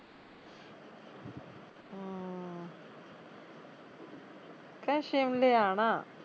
ਕਹਿ ਸ਼ਿਮਲੇ ਆਉਣਾ